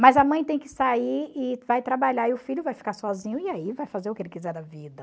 Mas a mãe tem que sair e vai trabalhar e o filho vai ficar sozinho e aí vai fazer o que ele quiser da vida.